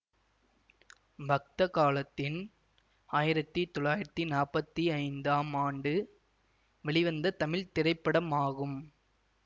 பக்த காளத்தின் ஆயிரத்தி தொள்ளாயிரத்தி நாப்பத்தி ஐந்தாம் ஆண்டு வெளிவந்த தமிழ் திரைப்படமாகும்